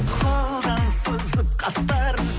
қолдан сызып қастарын